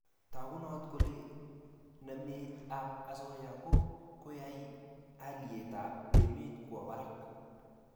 tagunot kole namet ab asoya ko kokoyai haliyet ab emet kwo barak